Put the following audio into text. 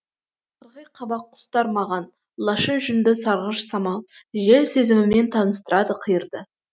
қырғи қабақ құстар маған лашын жүнді сарғыш самал жел сезімімен таныстырады қиырды